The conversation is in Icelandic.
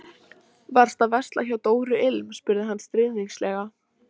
Kvenmaður kom kjagandi í átt að norðanverðum túngarðinum, allfjarri.